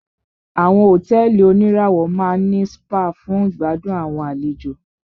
Àwọn hotẹ́ẹ́li oníràwọ̀ máà ní spa fún ìgbàdùn àwọn àlejò.